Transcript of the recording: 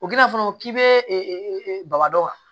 O gindo fana k'i be baba dɔ wa